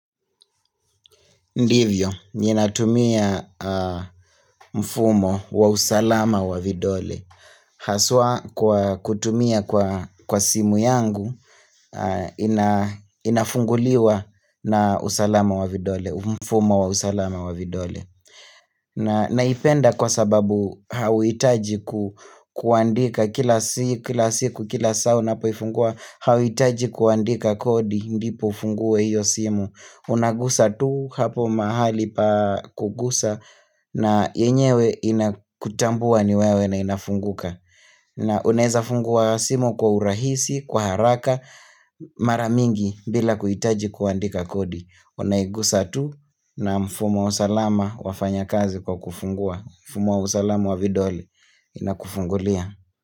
Ndivyo, nina tumia mfumo wa usalama wa vidole Haswa kwa kutumia kwa simu yangu Inafunguliwa na usalama wa vidole, mfumo wa usalama wa vidole Naipenda kwa sababu hawitaji ku kuandika kila siku, kila siku, kila saa unapuifungua Hawitaji kuandika kodi ndipo ufungue hiyo simu Unagusa tu hapo mahali pa kugusa na yenyewe inakutambua niwewe na inafunguka na uneza fungua simo kwa urahisi, kwa haraka, maramingi bila kuhitaji kuandika kodi Unaigusa tu na mfumo salama wafanya kazi kwa kufungua Mfumo salama wa vidole inakufungulia.